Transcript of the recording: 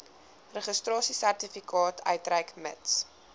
registrasiesertifikaat uitreik mits